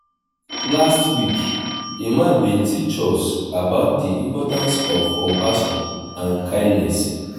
last week imam bin teach us about di importance of compassion and kindness.